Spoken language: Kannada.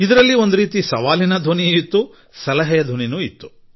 ಅದರಲ್ಲಿ ಒಂದು ರೀತಿಯಲ್ಲಿ ಅವರ ಸವಾಲಿನ ಧ್ವನಿಯೂ ಇತ್ತು ಸಲಹೆಯೂ ಆಗಿತ್ತು